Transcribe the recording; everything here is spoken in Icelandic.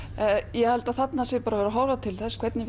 ég held að þarna sé verið að horfa til þess hvernig